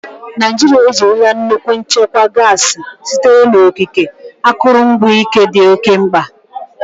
Naijiria ejirila nnukwu nchekwa gasi sitere n'okike, akụrụngwa ike dị oke mkpa.